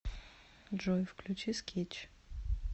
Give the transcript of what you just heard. джой включи скетч